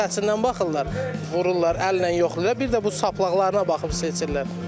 Saçından baxırlar, vururlar, əllə yoxlayırlar, bir də bu saplaqlarına baxıb seçirlər.